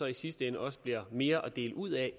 i sidste ende også bliver mere at dele ud af